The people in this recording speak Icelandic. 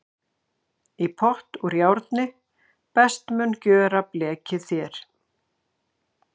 Í pott úr járni best mun gjöra blekið þér.